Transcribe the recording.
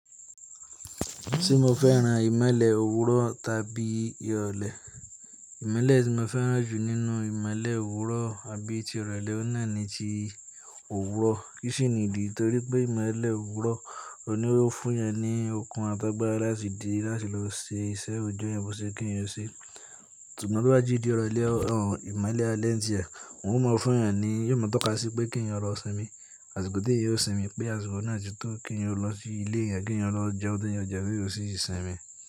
Tí mo fẹ́ràn ìmọ́lẹ̀ òwúrọ̀ tàbí ìrọ̀lẹ́, ìmọ́lẹ̀ tí mo fẹ́ràn jù nínú ìmọ́lẹ̀ òwúrọ̀ àbí ti ìrọ̀lẹ́ náà ni ti òwúrọ̀. Kí sì ni nídi? Nítorí pé ìmọ́lẹ̀ òwúrọ̀, òhun ló fún ẹèyàn ní okun àtàgbàra láti di láti lọ ṣe iṣẹ́ oojọ́ èèyàn bó ṣe yẹ kí èèyàn ṣe. Ṣùgbọ́n tó bá ti dí ìrọ̀lẹ̀, ìmọ́lẹ̀ alẹ́ ǹtiẹ, òun ó mọ fún ẹ ni, yóò mọ̀ tọ́ka sí pé kí èèyàn lọ sìnmi, àsìkò tí èèyàn yóò sìnmi, pé àsìkò náà ti tó, kí èèyàn lọ sí ilé èèyàn, kí èèyàn lọ jẹun tó yẹn jẹ, kí èèyàn sì ṣì sìnmi.